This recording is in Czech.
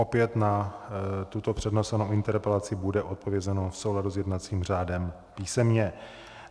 Opět na tuto přednesenou interpelaci bude odpovězeno v souladu s jednacím řádem písemně.